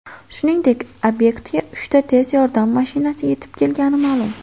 Shuningdek, obyektga uchta tez yordam mashinasi yetib kelgani ma’lum.